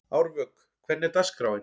Árvök, hvernig er dagskráin?